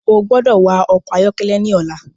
O gbọdọ wa ọkọ ayọkẹlẹ ní ọla!